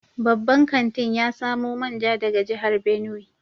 Babban kantin ya samo manja daga jihar Benue.